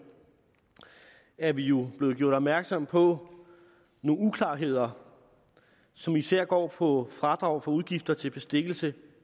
er vi jo blevet gjort opmærksomme på nogle uklarheder som især går på fradrag for udgifter til bestikkelse